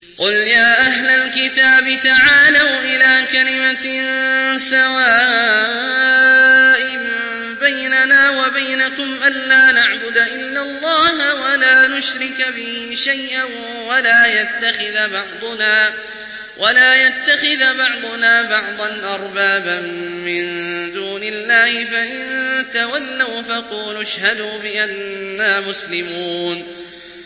قُلْ يَا أَهْلَ الْكِتَابِ تَعَالَوْا إِلَىٰ كَلِمَةٍ سَوَاءٍ بَيْنَنَا وَبَيْنَكُمْ أَلَّا نَعْبُدَ إِلَّا اللَّهَ وَلَا نُشْرِكَ بِهِ شَيْئًا وَلَا يَتَّخِذَ بَعْضُنَا بَعْضًا أَرْبَابًا مِّن دُونِ اللَّهِ ۚ فَإِن تَوَلَّوْا فَقُولُوا اشْهَدُوا بِأَنَّا مُسْلِمُونَ